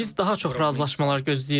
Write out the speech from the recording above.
Biz daha çox razılaşmalar gözləyirik.